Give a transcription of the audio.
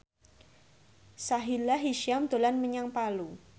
Sahila Hisyam dolan menyang Palu